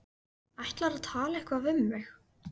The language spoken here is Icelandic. Ætlarðu að tala eitthvað við mig?